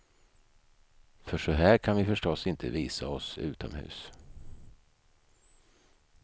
För så här kan vi förstås inte visa oss utomhus.